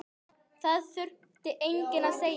Það þurfti enginn að segja